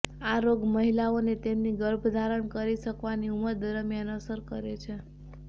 આ રોગ મહિલાઓને તેમની ગર્ભ ધારણ કરી શકવાની ઉંમર દરમિયાન અસર કરે છે